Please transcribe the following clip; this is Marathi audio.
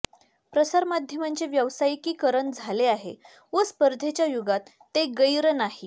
प्रसारमाध्यमांचे व्यावसायिकीकरण झाले आहे व स्पर्धेच्या युगात ते गैर नाही